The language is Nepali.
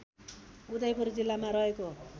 उदयपुर जिल्लामा रहेको